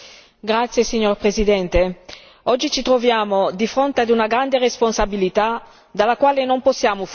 Signor Presidente, onorevoli colleghi, oggi ci troviamo di fronte ad una grande responsabilità dalla quale non possiamo fuggire.